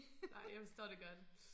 Nej jeg forstår det godt